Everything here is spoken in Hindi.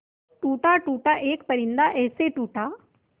टूटा टूटा एक परिंदा ऐसे टूटा